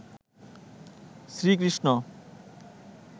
Shri Krishna